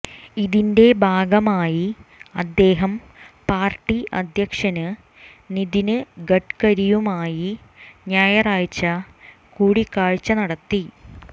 ഇതിന്റെ ഭാഗമായി അദ്ദേഹം പാര്ട്ടി അധ്യക്ഷന് നിതിന് ഗഡ്ക്കരിയുമായി ഞായറാഴ്ച കൂടിക്കാഴ്ച നടത്തി